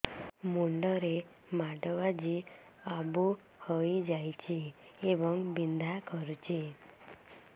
ମୁଣ୍ଡ ରେ ମାଡ ବାଜି ଆବୁ ହଇଯାଇଛି ଏବଂ ବିନ୍ଧା କରୁଛି